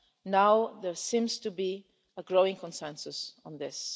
Now there seems to be a growing consensus on this.